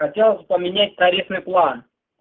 хотелось поменять тарифный план